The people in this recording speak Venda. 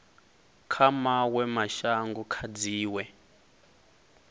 kha mawe mashango kha dziwe